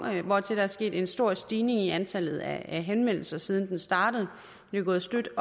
hvortil der er sket en stor stigning i antallet af henvendelser siden den startede det er gået støt